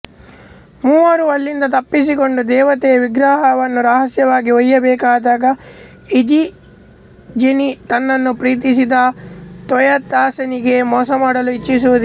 ಮೂವರೂ ಅಲ್ಲಿಂದ ತಪ್ಪಿಸಿಕೊಂಡು ದೇವತೆಯ ವಿಗ್ರಹವನ್ನು ರಹಸ್ಯವಾಗಿ ಒಯ್ಯಬೇಕಾದಾಗ ಇಫಿಜೆನಿ ತನ್ನನ್ನು ಪ್ರೀತಿಸಿದ ಥೊಯಾಸನಿಗೆ ಮೋಸಮಾಡಲು ಇಚ್ಛಿಸುವುದಿಲ್ಲ